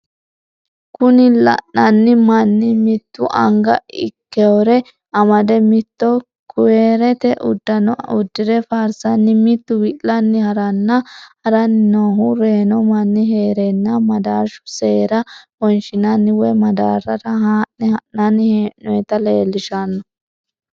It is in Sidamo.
Kuni lainnanni manni mitu anga ikkewore amade mito kuyarete uddano uddire faarsanni mitu wi'lanni haranni noohu reyino manni heerena madarshu seera wonshinanni woy madaarrara ha'ne ha'nanni he'noyita leellishanno.